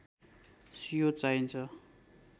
सियो चाहिन्छ